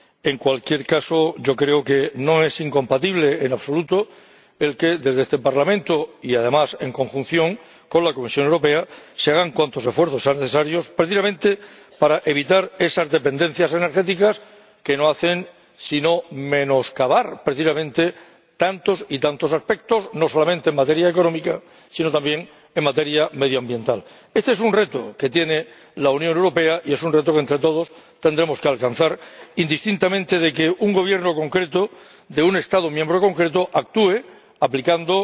En cualquier caso, creo que no es incompatible en absoluto que, desde este Parlamento y, además, en conjunción con la Comisión Europea, se hagan cuantos esfuerzos sean necesarios precisamente para evitar esas dependencias energéticas, que no hacen sino menoscabar precisamente tantos y tantos aspectos, no solamente en materia económica, sino también en materia medioambiental. Este es un reto que tiene ante sí la Unión Europea y es un reto que entre todos tendremos que afrontar, independientemente de que un Gobierno concreto de un Estado miembro concreto actúe aplicando